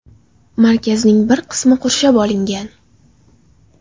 Markazning bir qismi qurshab olingan.